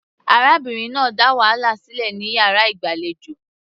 Arábìnrin náà dá wàhálà sílẹ̀ ní yàrá ìgbàlejò.